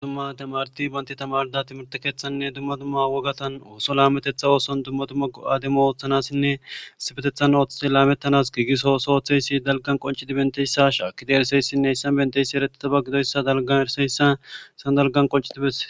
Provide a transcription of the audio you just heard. Ddumma temarti banti tamarda timirte keeththanne dumma dumma wogatan ooso laametetha ooson dumma dumma go'aademo ooththanassinne sifetethan ooththite laamettanas giigiso oso oththeysi dalgan qoncidi benteyssa shaakkide ereseyssinne issan benteysi erettitaba gidoyssa dalgan erseyssaissan dalgan qoncitibese